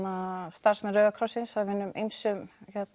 starfsmenn Rauða krossins af hinum ýmsu